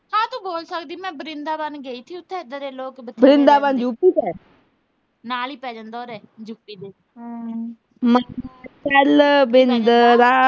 ਚੱਲ ਭਿੰਡਰਾ